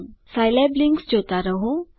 Scilab links જોતા રહો